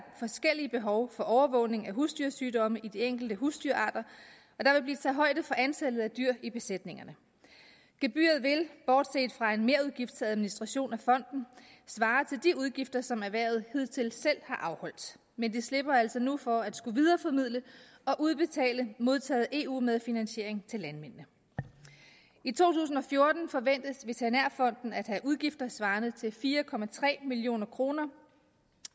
forskellige behov for overvågning af husdyrsygdomme hos de enkelte husdyrarter og højde for antallet af dyr i besætningerne gebyret vil bortset fra en merudgift til administration af fonden svare til de udgifter som erhvervet hidtil selv har afholdt men vi slipper altså nu for at skulle videreformidle forudbetalt modtaget eu medfinansiering til landmændene i to tusind og fjorten forventes veterinærfonden at have udgifter svarende til fire million kroner